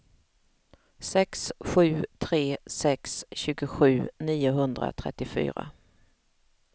sex sju tre sex tjugosju niohundratrettiofyra